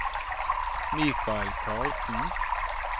Michael Karlsen